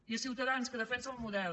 i a ciutadans que defensa el model